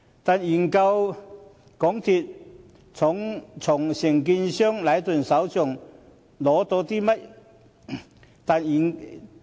但是，究竟港鐵公司從承建商禮頓手上取得甚麼資料？